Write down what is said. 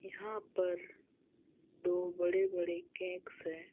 यहाँ पर दो बड़े बड़े केक्स हैं।